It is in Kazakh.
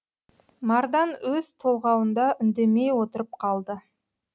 мардан өз толғауында үндемей отырып қалды